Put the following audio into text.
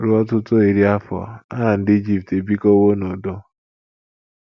Ruo ọtụtụ iri afọ, ha na ndị Ijipt ebikọwo n’udo.